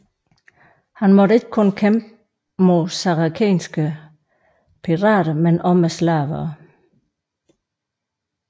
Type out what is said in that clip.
Han måtte ikke kun kæmpe mod saracenske pirater men også med slavere